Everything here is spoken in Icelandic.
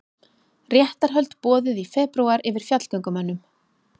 Réttarhöld boðuð í febrúar yfir fjallgöngumönnum